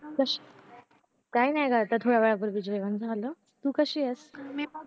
कशी काही नाही ग आता थोड्या वेळापूर्वी जेवण झालं तू काशियास